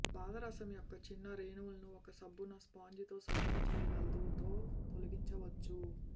పాదరసం యొక్క చిన్న రేణువులను ఒక సబ్బున స్పాంజితో శుభ్రం చేయగలదు తో తొలగించవచ్చు